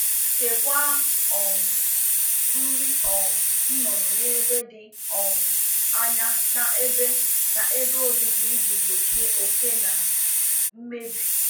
Debe nri anụ ọkụkọ n'ebe dị anya n'ụlọ ha ka ọ gbochie oke na imebi nri.